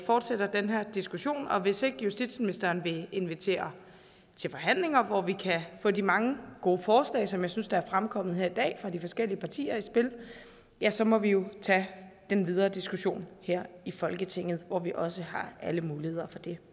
fortsætter den her diskussion og hvis ikke justitsministeren vil invitere til forhandlinger hvor vi kan få de mange gode forslag som jeg synes der er fremkommet her i dag fra de forskellige partier i spil ja så må vi jo tage den videre diskussion her i folketinget hvor vi også har alle muligheder for det